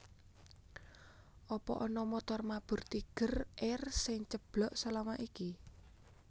Apa ana montor mabur Tiger Air sing ceblok selama iki?